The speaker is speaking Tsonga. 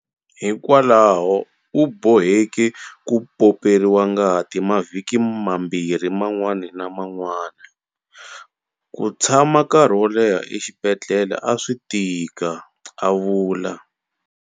Hikwalaho, u boheke ku pomperiwa ngati mavhiki mabirhi man'wana na man'wana. Ku tshama nkarhi wo leha exibedhlele a swi tika, a vula.